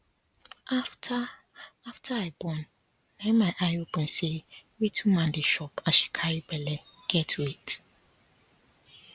after after i born na my eye open say wetin woman dey chop as she carry belle get weight